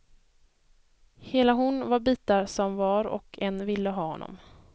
Hela hon var bitar som var och en ville ha honom.